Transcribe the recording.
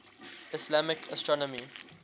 islamic astronomy